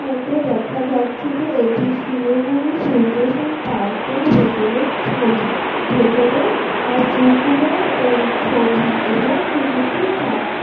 মধ্যে দেখা যাচ্ছে যে এটি শিলিগুড়ি সূর্যসেন পার্কের ভেতরের ছবি । ভেতরের পুকুরের ছবি এবং পুকুরটির সা --